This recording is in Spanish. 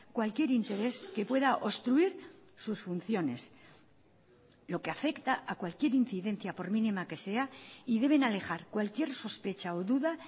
cualquier interés que pueda obstruir sus funciones lo que afecta a cualquier incidencia por mínima que sea y deben alejar cualquier sospecha o duda